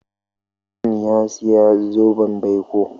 John ya saya zoben baiko.